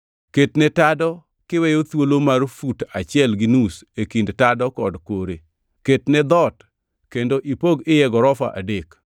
Ketne tado kiweyo thuolo mar fut achiel gi nus e kind tado kod kore. Ketne dhoot kendo ipog iye gorofa adek.